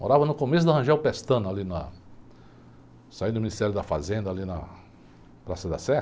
Morava no começo da Rangel Pestana, ali na... Saí do Ministério da Fazenda, ali na Praça da Sé.